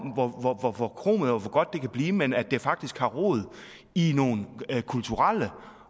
hvor hvor forkromet og hvor godt det kan blive men at det faktisk har rod i nogle kulturelle